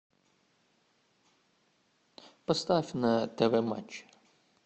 поставь на тв матч